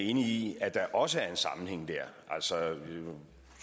enig i at der også er en sammenhæng dér altså